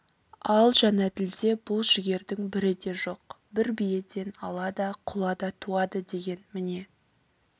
ал жәнәділде бұл жігердің бірі де жоқ бір биеден ала да құла да туады деген міне